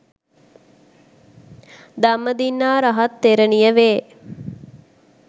ධම්මදින්නා රහත් තෙරණිය වේ.